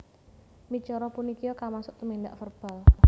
Micara punikia kamasuk tumindak verbal